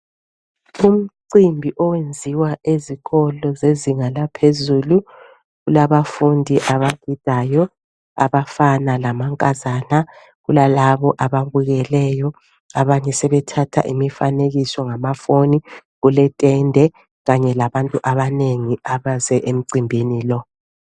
Umcimbi owenziwa ezikolo zezinga laphezulu kulabafundi abafundayo abafana lamankazana. Kulalabo ababukeleyo abanye sebethatha imifanekiso ngamafoni kuletende kanye labantu abanengi abaze emcimbini lo.